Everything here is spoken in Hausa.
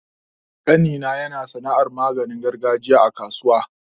ƙanina yana sana'ar maganin gargajiya a kasuwa.